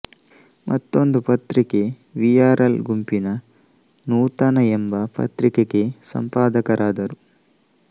ಮತ್ತೊಂದು ಪತ್ರಿಕೆ V R L ಗುಂಪಿನ ನೂತನ ಯೆಂಬ ಪತ್ರಿಕೆಗೆ ಸಂಪಾದಕರಾದರು